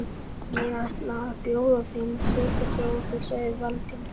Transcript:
Ég ætla að bjóða þeim að setjast hjá okkur sagði Valdimar.